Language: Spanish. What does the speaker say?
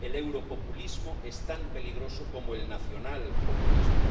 El europopulismo es tan peligroso como el nacionalpopulismo.